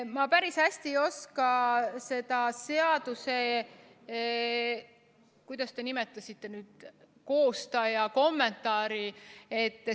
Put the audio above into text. Ma päris hästi ei oska seda seaduse, kuidas te seda nimetasitegi, koostaja kommentaari kommenteerida.